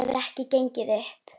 Þetta hefur ekki gengið upp.